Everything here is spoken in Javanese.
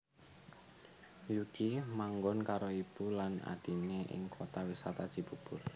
Yuki manggon karo ibu lan adhiné ing Kota Wisata Cibubur